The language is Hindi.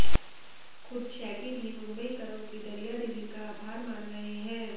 खुद शैगी भी मुंबईकरों की दरियादिली का आभार मान रहे हैं